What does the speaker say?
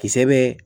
Kisɛ bɛ